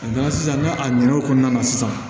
A nana sisan n'a ɲinɛ o kɔnɔna na sisan